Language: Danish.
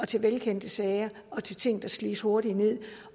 til velkendte sager og til ting der slides hurtigt ned